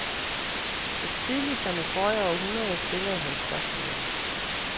Så tidligt som i forrige århundrede stillede han spørgsmålet.